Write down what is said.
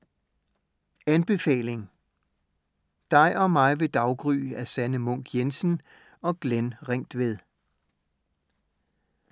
Anbefaling: Dig og mig ved daggry af Sanne Munk Jensen og Glenn Ringtved